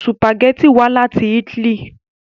Sùpàgẹ́tì wá láti Italy